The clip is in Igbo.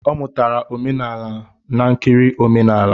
Ọ mụtara omenala n'nkiri omenala